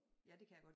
Ja det kan jeg godt